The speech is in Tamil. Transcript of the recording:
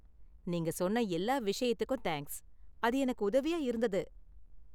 நீங்க சொன்ன எல்லா விஷயத்துக்கும் தேங்க்ஸ், அது எனக்கு உதவியா இருந்தது.